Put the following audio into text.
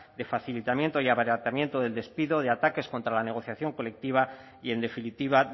de facilitamiento y abaratamiento del despido de ataques contra la negociación colectiva y en definitiva